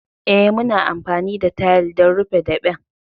Eh, muna amfani da tayal don rufe daɓen.